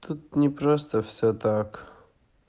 тут не просто всё так